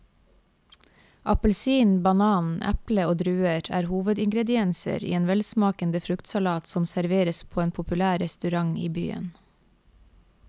Appelsin, banan, eple og druer er hovedingredienser i en velsmakende fruktsalat som serveres på en populær restaurant i byen.